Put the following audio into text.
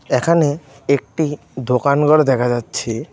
এখানে একটি দোকান ঘর দেখা যাচ্ছে.